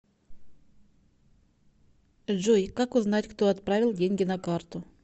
джой как узнать кто отправил деньги на карту